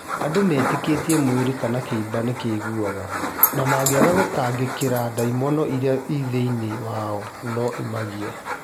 Andũ metĩkĩtie mwĩrĩ kana kĩimba nĩkĩiguaga, na mangĩaga kũũtangĩkĩra ndaimono ĩrĩa ĩrĩ thĩinĩ wao no ĩmagagie